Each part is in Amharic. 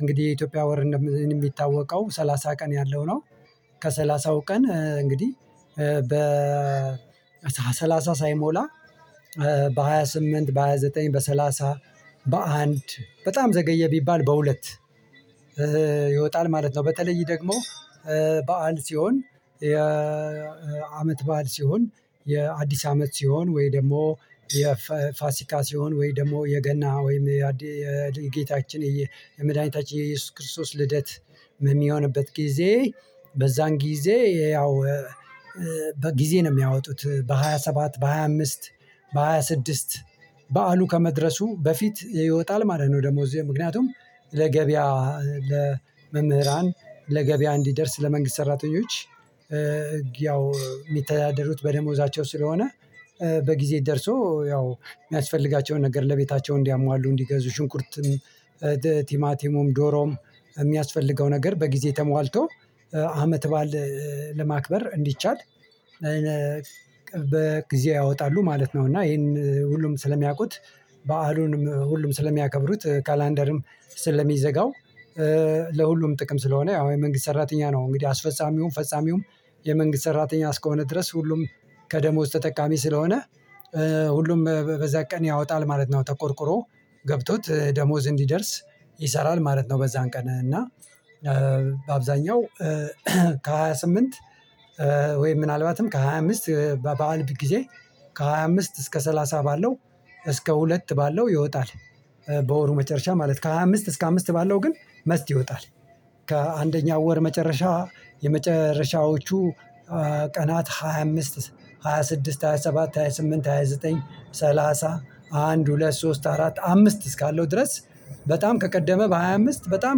እንግዲህ የኢትዮጵያ ወር የሚታወቀው ሰላሳ ቀን ያለው ነው። ከሠላሳው ቀን እንግዲህ በ ሰላሳ ሳይሞላ፤ በሃያ ስምንት፣ በሃያ ዘጠኝ፣ በሰላሳ፣ በአንድ በጣም ዘገየ ቢባል በሁለት፤ ይወጣል ማለት ነው። በተለይ ደግሞ በዓል ሲሆን የአመት በዓል ሲሆን፣ የአዲስ አመት ሲሆን ወይ ደግሞ የፋሲካ ሲሆን ወይ ደግሞ የገና ወይም የጌታችን የመድኃኒታችን የኢየሱስ ክርስቶስ ልደት የሚሆንበት ጊዜ፤ በዛን ጊዜ ያው በጊዜ ነው የሚያወጡት በሃያ ሰባት፣ በሃያ አምስት፣ በሃያ ስድስት በዓሉ ከመድረሱ በፊት ይወጣል ማለት ነው። ደሞዝ ምክንያቱም ለገበያ ለመምህራን ለገበያ እንዲደርስ ለመንግስት ሰራተኞች ያው የሚተዳደሩት በደሞዛቸው ስለሆነ በጊዜ ደርሶ ያው የሚያስፈልጋቸውን ነገር ለቤታቸው እንዲያሟሉ፣ እንዲገዙ ሽንቁርትም ቲማቲሙም፣ ዶሮም የሚያስፈልገው ነገር በጊዜ ተሟልቶ አመት ባል ለማክበር እንዲቻል በጊዜ ያወጣሉ ማለት ነው። እና ይሄን ሁሉም ስለሚያውቁት በዓሉንም ሁሉም ስለሚያከብሩት ካላንደርም ስለሚዘጋው ለሁሉም ጥቅም ስለሆነ ያው የመንግስት ሰራተኛ ነው እንግዲህ አስፈጻሚውም፣ ፈጻሚውም የመንግስት ሰራተኛ እስከሆነ ድረስ ሁሉም ከደሞዝ ተጠቃሚ ስለሆነ ሁሉም በዛ ቀን ያወጣል ማለት ነው። ተቆርቁሮ፣ ገብቶት ደሞዝ እንዲደርስ ይሰራል ማለት ነው። በዛን ቀን እና በአብዛኛው ከሃያ ስምንት ወይም ምናልባትም ከሃያ አምስት በበዓል ጊዜ ከሃያ አምስት እስከ ሰላሳ ባለው እስከ ሁለት ባለው ይወጣል። በወሩ መጨረሻ ማለት ከሃያ አምስት እስከ አምስት ባለው ግን መስት ይወጣል። ከአንደኛው ወር መጨረሻ የመጨረሻዎቹ ቀናት ሃያ አምስት፣ ሃያ ስድስት፣ ሃያ ሰባት፣ ሃያ ስምንት፣ ሃያ ዘጠኝ፣ ሰላሳ፣ አንድ፣ ሁለት፣ ሶስት፣ አራት፣ አምስት እስካለው ድረስ በጣም ከቀደመ በሃያ አምስት በጣም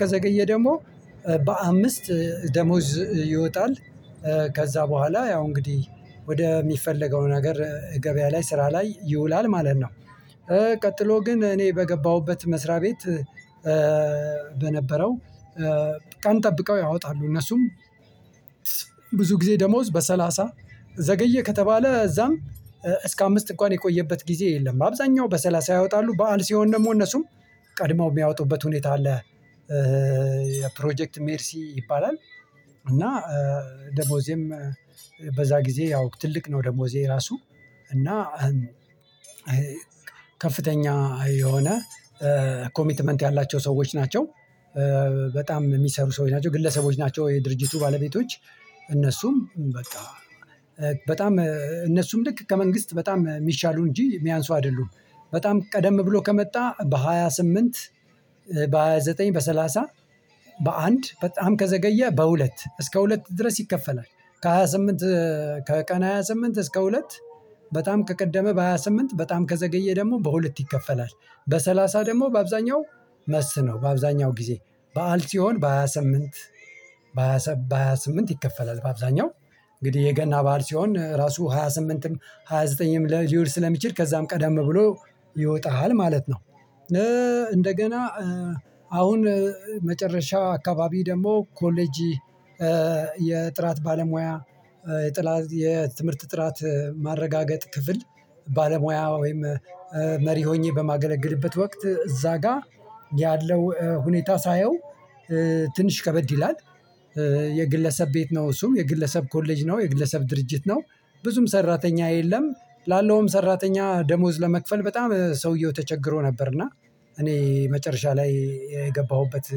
ከዘገየ ደግሞ በአምስት ደሞዝ ይወጣል። ከዛ በኋላ ያው እንግዲህ ወደ ሚፈለገው ነገር ገበያ ላይ ስራ ላይ ይውላል ማለት ነው። ቀጥሎ ግን እኔ በገባሁበት መስሪያ ቤት በነበረው ቀን ጠብቀው ያወጣሉ እነሱም። ብዙ ጊዜ ደሞዝ በሰላሳ ዘገየ ከተባለ እዛም እስከ አምስት እንኳን የቆየበት ጊዜ የለም። አብዛኛው በሰላሳ ያወጣሉ። በዓል ሲሆን ደግሞ እነሱም ቀድመው የሚያወጡበት ሁኔታ አለ። የፕሮጀክት ሜርሲ ይባላል። እና ደሞዜም በዛ ጊዜ ያው ትልቅ ነው ደሞዜ ራሱ። እና ከፍተኛ የሆነ ኮሚትመንት ያላቸው ሰዎች ናቸው። በጣም የሚሰሩ ሰዎች ናቸው ግለሰቦች ናቸው። የድርጅቱ ባለቤቶች እነሱም በቃ በጣም እነሱም ልክ ከመንግስት በጣም የሚሻሉ እንጂ የሚያንሱ አይደሉም። በጣም ቀደም ብሎ ከመጣ በሃያ ስምንት በሃያ ዘጠኝ፣ በሰላሳ፣ በአንድ በጣም ከዘገየ በሁለት እስከ ሁለት ድረስ ይከፈላል። ከሃያ ስምንት ከቀን ሃያ ስምንት እስከ ሁለት በጣም ከቀደመ በሃያ ስምንት በጣም ከዘገየ ደግሞ በሁለት ይከፈላል። በሰላሳ ደግሞ በአብዛኛው መስት ነው በአብዛኛው ጊዜ። በዓል ሲሆን በሃያ ስምን፣ በሃያ ስምንት በሃያ ሃያ ስምንት ይከፈላል በአብዛኛው። እንግዲህ የገና ባህር ሲሆን ራሱ ሃያ ስምንትም ሃያ ዘጠኝም ላይ ዩር ስለሚችል ከዛም ቀዳም ብሎ ይወጣሃል ማለት ነው። እንደገና አሁን መጨረሻ አካባቢ ደግሞ ኮሌጅ የጥራት ባለሙያ የጥራት ጥራት ማረጋገጥ ክፍል ባለሙያ ወይም መሪ ሆኜ በማገለግልበት ወቅት እዛ ጋር ያለው ሁኔታ ሳየው ትንሽ ከበድ ይላል። የግለሰብ ቤት ነው እሱም። የግለሰብ ኮሌጅ ነው። የግለሰብ ድርጅት ነው። ብዙም ሰራተኛ የለም። ላለውም ሰራተኛ ደሞዝ ለመክፈል በጣም ሰውየው ተቸግሮ ነበር። እና እኔ መጨረሻ ላይ የገባሁበት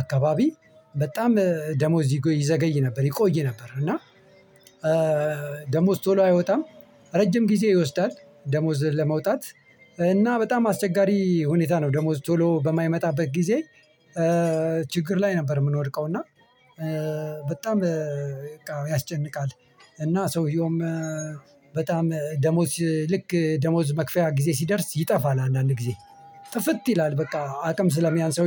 አካባቢ በጣም ደሞዝ ይዘገይ ነበር። ይቆይ ነበር። እና ደሞዝ ቶሎ አይወጣም፣ ረጅም ጊዜ ይወስዳል። ደሞዝ ለመውጣት እና በጣም አስቸጋሪ ሁኔታ ነው። ደሞዝ ቶሎ በማይመጣበት ጊዜ ችግር ላይ ነበር የምንወድቀው። እና በጣም ያስጨንቃል። እና ሰውየውም በጣም ደሞዝ ልክ ደሞዝ መክፈያ ጊዜ ሲደርስ ይጠፋል አንዳንድ ጊዜ። ጥፍጥ ይላል በቃ አቅም ስለሚያንስ።